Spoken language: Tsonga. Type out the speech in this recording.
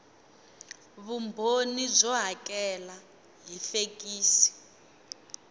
vumbhoni byo hakela hi fekisi